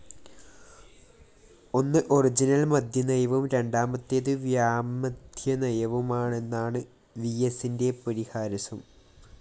ഒന്ന് ഒറിജിനൽ മദ്യനയവും രണ്ടാമത്തേതു വ്യാമദ്യനയവുമാണെന്നാണു വിഎസിന്റെ പരിഹാസം